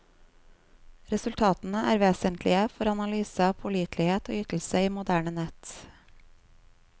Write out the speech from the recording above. Resultatene er vesentlige for analyse av pålitelighet og ytelse i moderne nett.